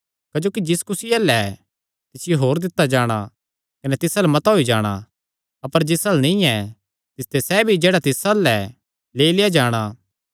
क्जोकि जिस कुसी अल्ल ऐ तिसियो होर दित्ता जाणा कने तिस अल्ल मता होई जाणा अपर जिस अल्ल नीं ऐ तिसते सैह़ भी जेह्ड़ा तिस अल्ल ऐ लेई लेआ जाणा